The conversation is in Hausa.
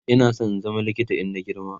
Ina San in zama likita in na girma